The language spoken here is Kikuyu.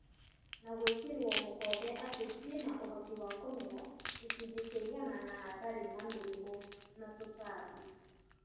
Na gwĩkĩrwo mũkonde atĩ ciĩna ũhoti wa kũmera gĩcunjĩ kia igana na hatarĩ na mĩrimũ na tũtambi